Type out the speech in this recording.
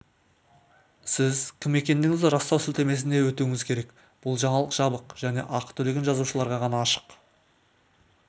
сіз кім екендігіңізді растау сілтемесіне өтуіңіз керек бұл жаңалық жабық және ақы төлеген жазылушыларға ғана ашық